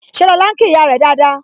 Ṣé lọ́la ń kí ìyá rẹ dáadáa?